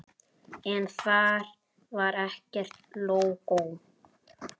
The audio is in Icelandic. En þar var ekkert lógó.